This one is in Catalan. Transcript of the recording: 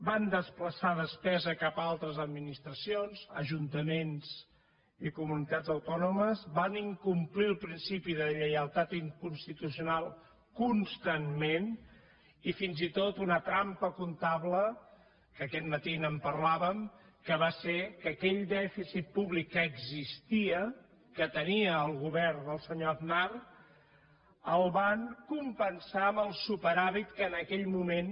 van desplaçar despesa cap a altres administracions ajuntaments i comunitats autònomes van incomplir el principi de lleialtat constitucional constantment i fins i tot una trampa comptable que aquest matí en parlàvem que va ser que aquell dèficit públic que existia que tenia el govern del senyor aznar el van compensar amb el superàvit que en aquell moment